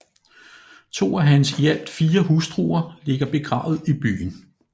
To af hans i alt fire hustruer ligger begravet i byen